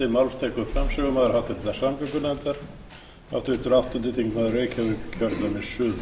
virðulegi forseti ég flyt hér nefndarálit um frumvarp til